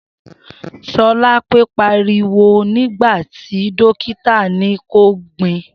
Sholape pàríwò nigbàtí dọkità ni kọ gbin